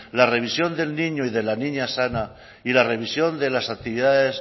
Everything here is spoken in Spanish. la revisión del niño y de la niña sana y la revisión de las actividades